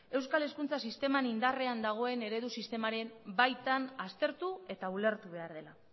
euskal hezkuntza sisteman indarrean dagoen eredu sistemaren baitan aztertu eta ulertu behar dela